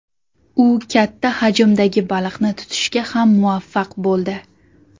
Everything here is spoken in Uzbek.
U katta hajmdagi baliqni tutishga ham muvaffaq bo‘ldi.